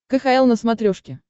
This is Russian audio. кхл на смотрешке